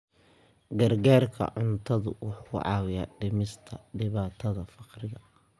Gargaarka cuntadu wuxuu caawiyaa dhimista dhibaatada faqriga.